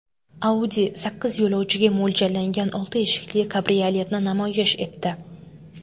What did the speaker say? Audi sakkiz yo‘lovchiga mo‘ljallangan olti eshikli kabrioletni namoyish etdi.